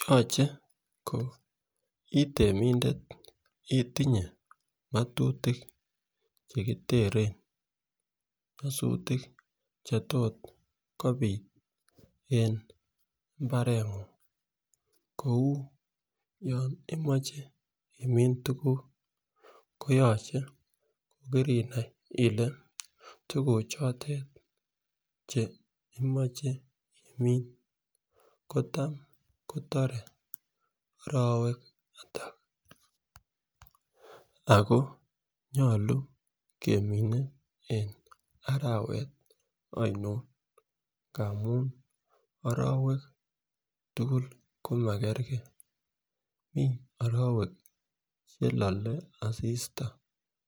Yoche ko itemindet itinye ngotutik chekiteren nyosutik chetoreti kopitu en imbarengung kou yon imoche imin tukuk koyoche ko kirinai ile tukuk chotet chemoche imin kotam kotoret arowek atak ako kemine en arawet oinon amun orowek tukul komagergee mii orowek chelole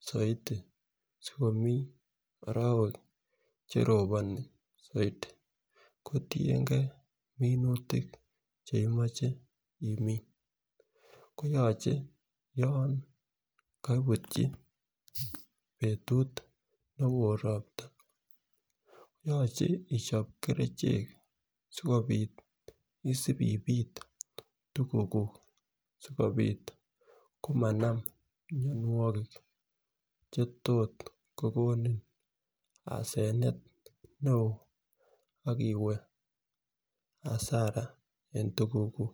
soiti sokomiii orowek cheroponi soit kotiyengee minutik chemoche imin koyoche yon koibutyi betut newo ropta koyoche ichop kerichek sikopit isipipit tukuk kuk somanam mionwokik chetot kokonin asenet neo akiwe asara en tukuk kuku.